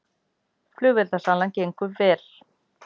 Flugeldasalan gengið vel